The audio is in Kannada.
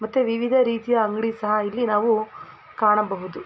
ಮತ್ತೆ ವಿವಿಧ ರೀತಿಯ ಅಂಗಡಿ ಸಹ ಇಲ್ಲಿ ನಾವು ಕಾಣಬಹುದು .